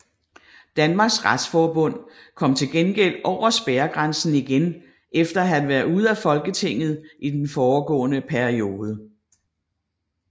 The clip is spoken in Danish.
Danmarks Retsforbund kom til gengæld over spærregrænsen igen efter at have været ude af Folketinget i den foregående periode